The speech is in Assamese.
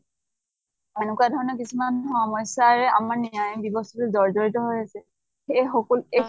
এনেকুৱা ধৰণৰ কিছুমান সমস্য়াৰে আমাৰ ন্য়ায়িক ব্য়ৱস্থাটো জৰ্জৰিত হৈ আছে। এই সকলো